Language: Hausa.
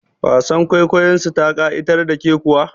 Wasar kwaikwayon su ta ƙa'itar da ke kuwa?